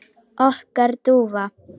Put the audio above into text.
Okkar dúfa?